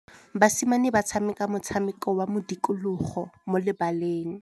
Basimane ba tshameka motshameko wa modikologô mo lebaleng.